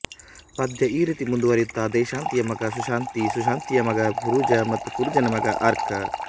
ಪದ್ಯ ಈ ರೀತಿ ಮುಂದುವರೆಯುತ್ತದೆಶಾಂತಿಯ ಮಗ ಸುಶಾಂತಿ ಸುಶಾಂತಿಯ ಮಗ ಪುರುಜಾ ಮತ್ತು ಪುರುಜನ ಮಗ ಅರ್ಕಾ